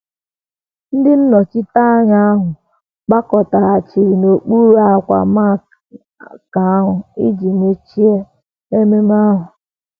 Ndị nnọchiteanya ahụ gbakọtaghachiri n’okpuru ákwà marquee ahụ iji mechie ememe ahụ.